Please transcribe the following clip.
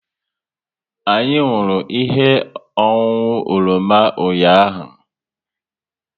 Anyị nwụrụ ihe ọṅụṅụ oroma ụnyaahụ